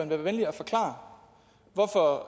være venlig at forklare hvorfor